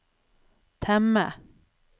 temme